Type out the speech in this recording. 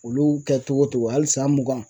Olu kɛ cogo cogo hali san mugan